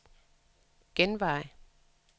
genvej